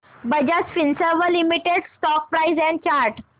Bajaj Finserv limited stock price and chart